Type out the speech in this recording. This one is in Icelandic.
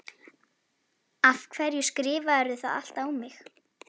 Adólf, hringdu í Aldísi eftir tuttugu og eina mínútur.